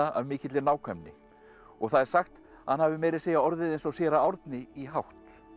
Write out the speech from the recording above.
af mikilli nákvæmni og það er sagt að hann hafi meira að segja orðið eins og séra Árni í hátt